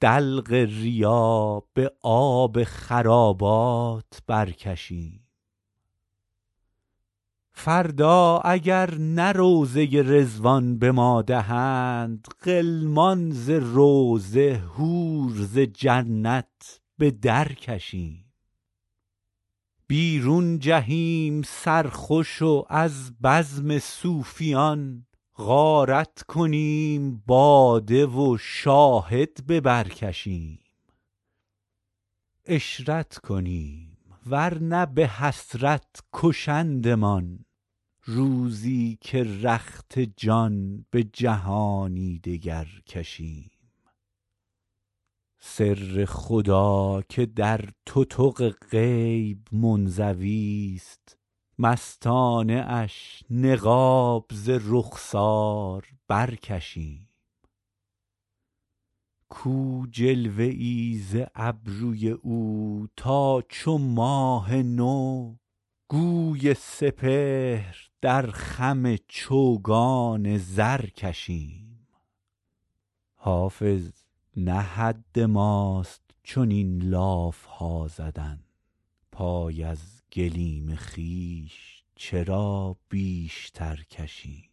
دلق ریا به آب خرابات برکشیم فردا اگر نه روضه رضوان به ما دهند غلمان ز روضه حور ز جنت به درکشیم بیرون جهیم سرخوش و از بزم صوفیان غارت کنیم باده و شاهد به بر کشیم عشرت کنیم ور نه به حسرت کشندمان روزی که رخت جان به جهانی دگر کشیم سر خدا که در تتق غیب منزویست مستانه اش نقاب ز رخسار برکشیم کو جلوه ای ز ابروی او تا چو ماه نو گوی سپهر در خم چوگان زر کشیم حافظ نه حد ماست چنین لاف ها زدن پای از گلیم خویش چرا بیشتر کشیم